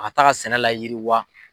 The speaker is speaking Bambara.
A taa ka sɛnɛ la yiri wa.